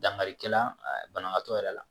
Dankari kɛla banabaatɔ yɛrɛ la